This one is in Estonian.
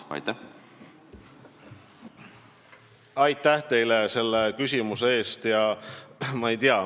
Aitäh teile selle küsimuse eest!